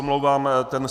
Omlouvám se.